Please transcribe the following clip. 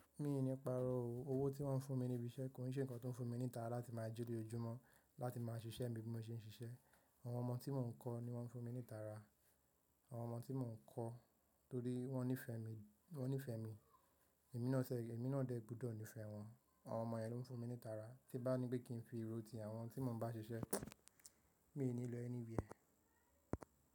Mii ní paró òwò tí wọ́n fún mi níbi iṣẹ́, kò ní ṣe nǹkan tó ń fún mi ní ìtara láti máa jí lojoojúmọ́ láti máa ṣiṣẹ́ mi bí mo ṣe ń ṣiṣẹ́. Àwọn ọmọ tí mò ń kọ́ ni wọ́n ń fún mi ní ìtara. Àwọn ọmọ tí mò ń kọ́ torí wọ́n nífẹ̀ẹ́ mi, wọ́n nífẹ̀ẹ́ mi. Ẹ̀mí náà ṣe, ẹ̀mí náà dẹ́ gbudọ̀ nífẹ̀ẹ́ wọ́n. Àwọn ọmọ yẹn ló ń fún mi ní ìtara tí n bá ní pé kí n fi ro tí àwọn tí mò ń bá ṣiṣẹ́, mi n ní lọ anywhere.